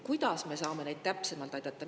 Kuidas me saame neid täpsemalt aidata?